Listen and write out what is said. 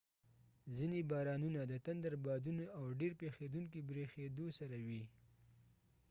ځیني بارانونه د تندر بادونو او ډیر پیښیدونکی بریښیدو سره وي